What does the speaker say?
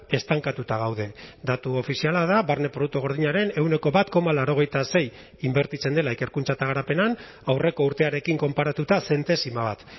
estankatuta gaude datu ofiziala da barne produktu gordinaren ehuneko bat koma laurogeita sei inbertitzen dela ikerkuntza eta garapenean aurreko urtearekin konparatuta zentesima bat